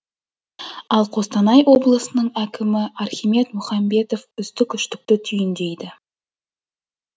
ал қостанай облысының әкімі архимед мұхамбетов үздік үштікті түйіндейді